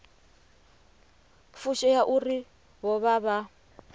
fushea uri vho vha vha